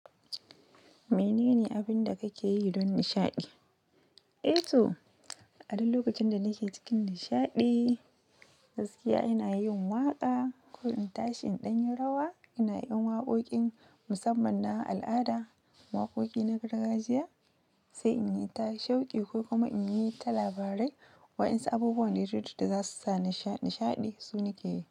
Mene ne abin da kake yi don nishaɗi? Eh to, a duk lokacin da nake cikin nishaɗi, gaskiya ina yin waka ko in tashi in ɗan yi rawa. Ina yin waƙoƙin musamman na al'ada, waƙoƙi na gargajiya sai in yi ta shauƙi ko kuma in yi ta labarai wayansu abubuwan dudda za su sa nishaɗi, su nake yi.